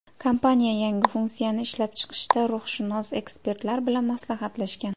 Kompaniya yangi funksiyani ishlab chiqishda ruhshunos ekspertlar bilan maslahatlashgan.